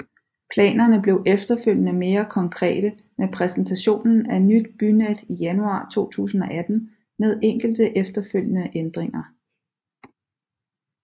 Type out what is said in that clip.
Planerne blev efterfølgende mere konkrete med præsentationen af Nyt Bynet i januar 2018 med enkelte efterfølgende ændringer